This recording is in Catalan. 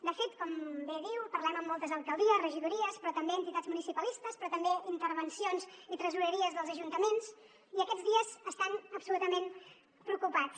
de fet com bé diu parlem amb moltes alcaldies regidories però també amb entitats municipalistes però també amb intervencions i tresoreries dels ajuntaments i aquests dies estan absolutament preocupats